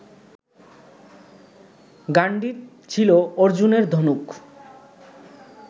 গাণ্ডীব ছিল অর্জুনের ধনুক